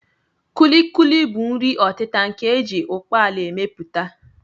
Kulikuli bụ nri ọtịta nke a ji ụkpaala emepụta